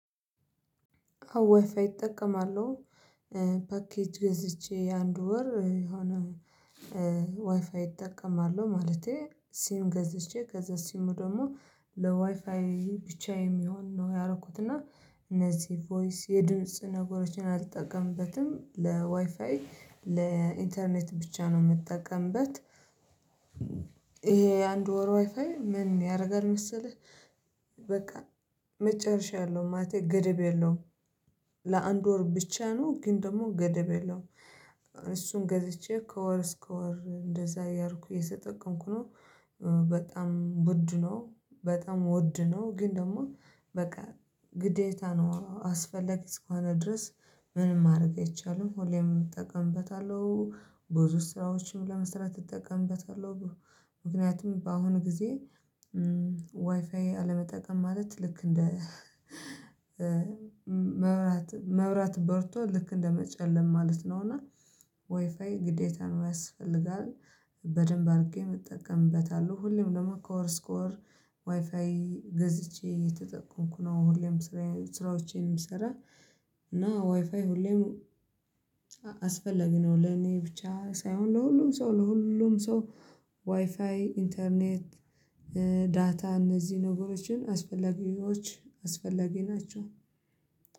ዋይፋይ እጠቀማለሁ። ፓኬጅ ገዝቼ የአንድ ወር የሆነ እጠቀማሉለሁ፣ ማለቴ ሲም ገዝቼ ከዛ ሲሙ ደግሞ ለዋይፋይ ብቻ የሚሆን ነው ያረኩት እና እነዚህ ቮይስ የድምጽ ነገሮችን አልጠቀምበትም ለዋይፋይ ለኢንተርኔት ብቻ ነው የምጠቀምበት። ይሄ አንድ ወር ዋይፋይ ምን ያደርጋል መሰለህ? በቃ መጨረሻ ያለው ማለቴ ገድብ የለውም። ለአንድ ወር ብቻ ነው ግን ደግሞ ገደብ የለውም። እሱን ገዝቼ ከወር እስከ ወር እንደዛ እያረኩኝ እየተጠቅምኩ ነው። በጣም ውድ ነው በጣም ውድ ነው። ግን ደግሞ በቃ ግዴታ ነው አስፈላጊ እስከሆነ ድረስ ምንም ማድረግ አይቻልም ሁሌም እጠቀምበታለሁ። ብዙ ስራዎችም ለመስራት እጠቀምበታለሁ። ምክንያቱም በአሁኑ ጊዜ ዋይፋይ አለመጠቀም ማለት ልክ እንደ መብራት በርቶ ልክ እንደመጨለም ማለት ነው። እና ዋይፋይ ግዴታም ያስፈልጋል በደንብ አድርጌ እጠቀምበታለሁ። ሁሌም ደግሞ ከወር እስከ ወር ዋይፋይ ገዝቼ እየተጠቀምኩ ነው። ሁሌም ስራዎቼንም የምሰራ እና ዋይፋይ ሁሌም አስፈላጊ ነው። ለኔ ብቻ ሳይሆን ለሁሉም ሰው ለሁሉም ሰው ዋይፋይ ኢንተርኔት ዳታ እነዚህ ነገሮችን አስፈላጊዎች አስፈላጊ ናቸው።